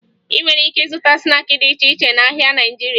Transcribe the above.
Ị nwere ike ịzụta snaakị dị iche iche n'ahịa Naịjirịa